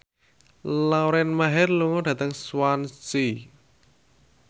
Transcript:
Lauren Maher lunga dhateng Swansea